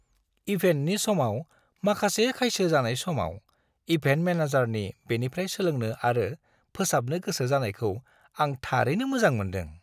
इभेन्टनि समाव माखासे खायसो जानाय समाव, इभेन्ट मेनेजारनि बेनिफ्राय सोलोंनो आरो फोसाबनो गोसो जानायखौ आं थारैनो मोजां मोनदों।